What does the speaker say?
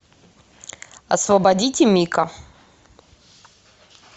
освободите мика